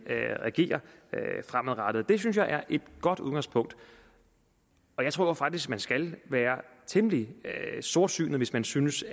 agere fremadrettet det synes jeg er et godt udgangspunkt jeg tror faktisk at man skal være temmelig sortsynet hvis man synes